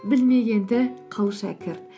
білмегенді қыл шәкірт